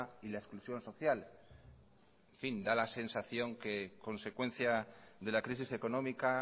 y la exclusión social en fin da la sensación que consecuencia de la crisis económica